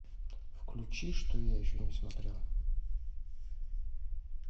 включи что я еще не смотрел